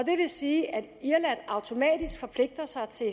sige at irland automatisk forpligter sig til